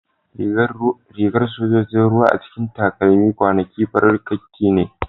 Rigar sojojin ruwa a cikin takamaiman kwanaki farar kakki ne